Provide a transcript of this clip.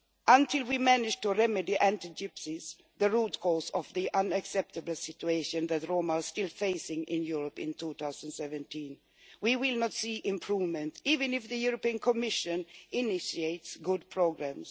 Until we manage to remedy anti Gypsyism, the root cause of the unacceptable situation that Roma are still facing in Europe in 2017, we will not see any improvement, even if the European Commission initiates good programmes.